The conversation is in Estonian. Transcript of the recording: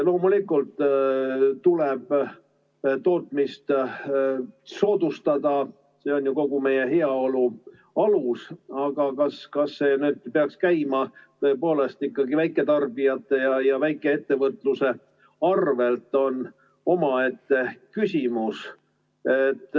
Loomulikult tuleb tootmist soodustada, see on ju kogu meie heaolu alus, aga kas see peaks käima ikkagi väiketarbijate ja väikeettevõtluse arvel, on omaette küsimus.